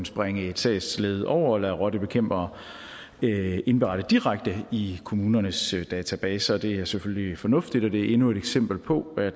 springe et sagsled over og lade rottebekæmpere indberette direkte i kommunernes databaser det er selvfølgelig fornuftigt og det er endnu et eksempel på at